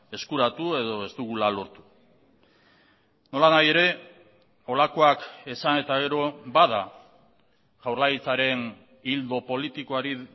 eskuratu edo ez dugula lortu nolanahi ere holakoak esan eta gero bada jaurlaritzaren ildo politikoari